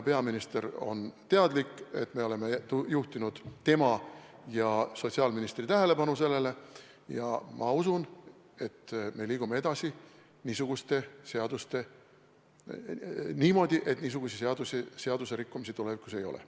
Peaminister on asjast teadlik, me oleme juhtinud tema ja sotsiaalministri tähelepanu sellele ja ma usun, et me liigume edasi niimoodi, et selliseid seaduserikkumisi tulevikus ei ole.